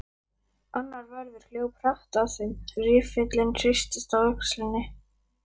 Annar vörður hljóp hratt að þeim, riffillinn hristist á öxlinni.